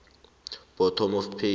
bottom of page